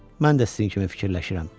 Mən də sizin kimi fikirləşirəm.